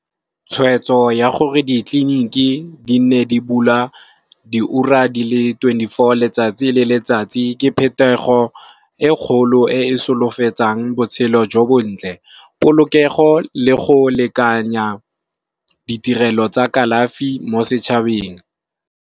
Tshweetso ya gore di tleliniki di nne di bula diura di le twenty four letsatsi le letsatsi ke phetogo e kgolo e e solofetsang botshelo jo bontle, polokego le go lekanya ditirelo tsa kalafi mo setšhabeng.